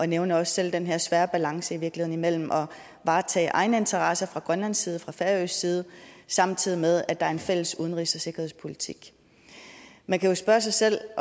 nævner også selv den her svære balance imellem at varetage egne interesser fra grønlandsk side fra færøsk side samtidig med at der er en fælles udenrigs og sikkerhedspolitik man kan jo spørge sig selv